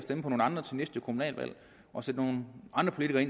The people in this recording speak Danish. man